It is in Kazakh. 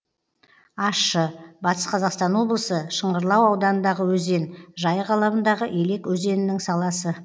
ащы батыс қазақстан облысы шыңғырлау ауданындағы өзен жайық алабындағы елек өзенінің саласы